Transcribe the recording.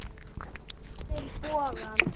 Spennir bogann.